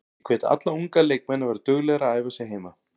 Ég hvet alla unga leikmenn að vera duglegir að æfa sig heima.